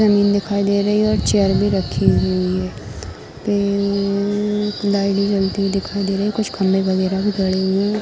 जमीन दिखाई दे रही है और चेयर भी रखी हुई है | पिररररर लाइट जलती हुई दिखाई दे रही है | कुछ खम्बे वगेरा भी गड़े हुए हैं |